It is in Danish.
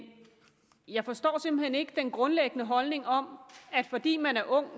jeg forstår simpelt hen ikke den grundlæggende holdning om at fordi man er ung